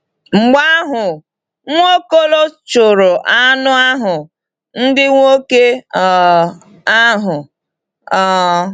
Mgbe ahụ, Nwaokolo chụrụ anụ ahụ ndị nwoke um ahụ. um